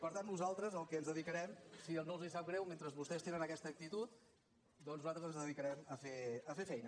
per tant nosaltres al que ens dedicarem si no els sap greu mentre vostès tenen aquesta actitud nosaltres ens dedicarem a fer feina